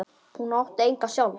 Hún ætti enga sjálf.